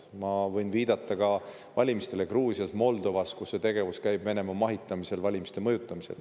Ma võin viidata ka valimistele Gruusias ja Moldovas, kus Venemaa mahitamisel käib valimiste mõjutamine.